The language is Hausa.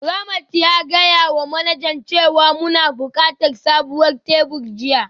Ramat ya gaya wa manajan cewa muna buƙatar sabon tebur jiya